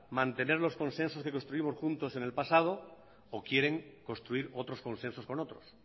mantener los consensos que construimos juntos en el pasado o quieren construir otros consensos con otros